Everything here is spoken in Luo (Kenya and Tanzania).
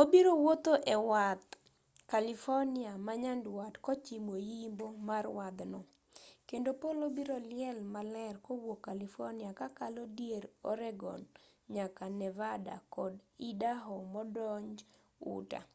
obiro wuotho ewadh california manyandwat kochimo yimbo mar wadhno kendo polo biro liel maler kowuok california kakalo dier oregon nyaka nevada kod idaho modonj utah